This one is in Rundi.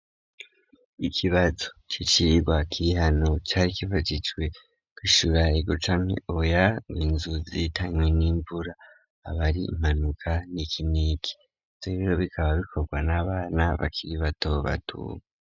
Ikibazo c'icirwa kirihano cari kivagicwe kuishyura igucame oya winzuzitanywe n'imvura abari impanuka n'ikiniki tebero bikaba bikorwa n'abana bakiri bato batu.